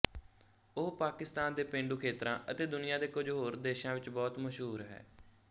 ਉਹ ਪਾਕਿਸਤਾਨ ਦੇ ਪੇਂਡੂ ਖੇਤਰਾਂ ਅਤੇ ਦੁਨੀਆਂ ਦੇ ਕੁਝ ਹੋਰ ਦੇਸ਼ਾਂ ਵਿੱਚ ਬਹੁਤ ਮਸ਼ਹੂਰ ਹੈ